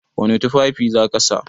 Wani tufafi za ka sa?